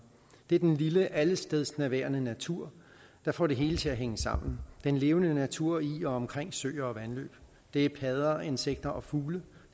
det er den lille allestedsnærværende natur der får det hele til at hænge sammen den levende natur i og omkring søer og vandløb det er padder insekter og fugle